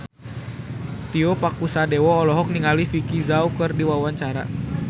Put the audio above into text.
Tio Pakusadewo olohok ningali Vicki Zao keur diwawancara